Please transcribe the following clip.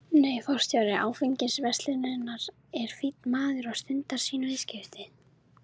Nei, forstjóri áfengisverslunarinnar er fínn maður og stundar sín viðskipti.